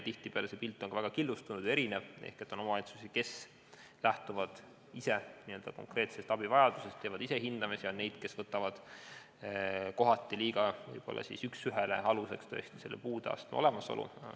Tihtipeale on see pilt väga killustunud ja erinev – on selliseid omavalitsusi, kes lähtuvad ise konkreetsest abivajadusest ja teevad ise hindamisi, ning on neid, kes võtavad kohati võib-olla liiga üksüheselt aluseks puudeastme olemasolu.